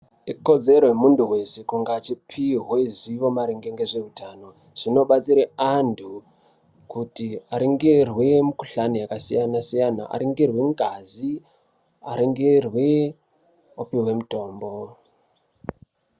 Ikodzero yemuntu weshe kuti achipuwe ruzivo maringe ngezveutano. Zvinobatsire antu kuti aringirwe mikuhlane yakasiyana siyana, aringirwe ngazi aringirwe opihwe mutombo.